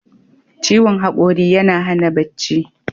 Ciwon haƙori yana hana bacci.